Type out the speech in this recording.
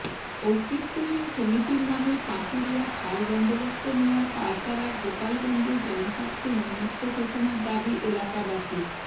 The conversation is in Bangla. অস্তিত্বহীন সমিতির নামে পাঁচুড়িয়া খাল বন্দোবস্ত নেয়ার পায়তারা গোপালগঞ্জে জনস্বার্থে উম্মুক্ত ঘোষনার দাবী এলাকাবাসীর